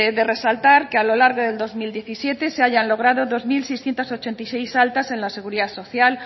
de resaltar que a lo largo del dos mil diecisiete se hayan logrado dos mil seiscientos ochenta y seis altas en la seguridad social